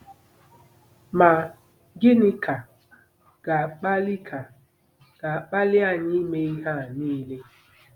Ma, gịnị ka ga-akpali ka ga-akpali anyị ime ihe a niile?